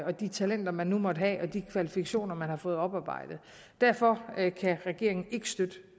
de talenter man nu måtte have og de kvalifikationer man har fået oparbejdet derfor kan regeringen ikke støtte